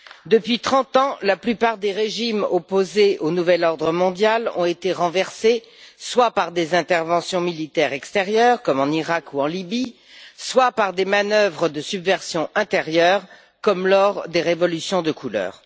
Depuis trente ans, la plupart des régimes opposés au nouvel ordre mondial ont été renversés, soit par des interventions militaires extérieures, comme en Iraq ou en Libye, soit par des manœuvres de subversion intérieure, comme lors des révolutions de couleur.